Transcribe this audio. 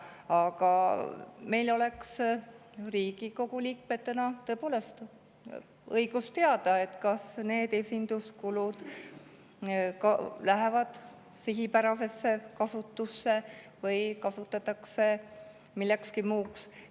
Aga meil, Riigikogu liikmetel, oleks tõepoolest õigus teada, kas neid esinduskuludeks kasutatakse sihipäraselt või mingil muul.